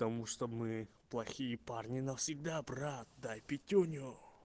тому что мы плохие парни навсегда брат дай пятюню